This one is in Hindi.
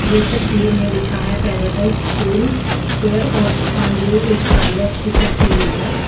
ये तस्वीर में लिखा है पैराडाइज़ स्कूल हैयर और स्पा ये एक पार्लर की तस्वीर है।